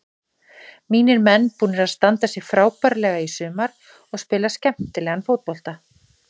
Mínir menn búnir að standa sig frábærlega í sumar og spila skemmtilegan fótbolta.